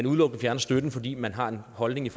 udelukkende fjerner støtten fordi man har en holdning